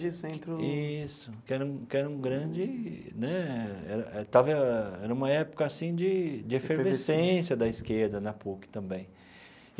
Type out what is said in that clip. Isso que era um que era um grande né tava era uma época assim de de efervescência da esquerda, na PUC também.